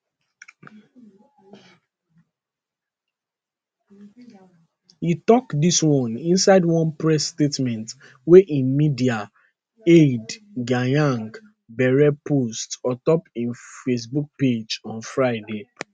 e tok dis one inside one press statement wey im media aide gyang bere post ontop im facebook page on friday